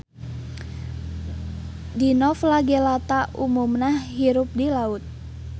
Dinoflagellata umumna hirup di laut.